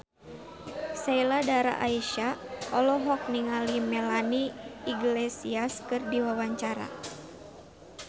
Sheila Dara Aisha olohok ningali Melanie Iglesias keur diwawancara